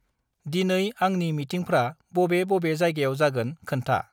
दिनै आंंनि मिटिंफ्रा बबे बबे जायगायाव जागोन खोन्था?